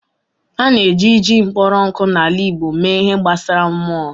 A na-eji jin kpọrọ nkụ na ala igbo mee ihe gbasara /mmụọ.